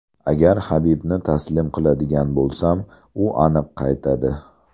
Agar Habibni taslim qiladigan bo‘lsam, u aniq qaytadi.